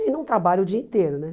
E não trabalha o dia inteiro, né?